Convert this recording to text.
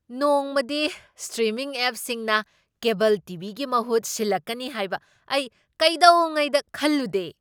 ꯅꯣꯡꯃꯗꯤ ꯁ꯭ꯇ꯭ꯔꯤꯃꯤꯡ ꯑꯦꯞꯁꯤꯡꯅ cable TV. ꯒꯤ ꯃꯍꯨꯠ ꯁꯤꯜꯂꯛꯀꯅꯤ ꯍꯥꯏꯕ ꯑꯩ ꯀꯩꯗꯧꯉꯩꯗ ꯈꯜꯂꯨꯗꯦ꯫